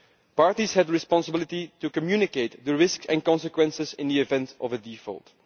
Parties have a responsibility to communicate the risks and consequences in the event of a default.